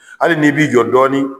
Hali ni b'i jɔ dɔɔnin